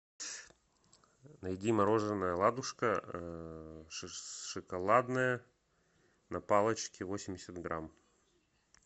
найди мороженое ладушка шоколадное на палочке восемьдесят грамм